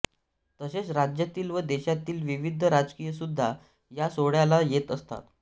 तसेच राज्यातील व देशातील विविध राजकीय सुद्धा या सोहळ्याला येत असतात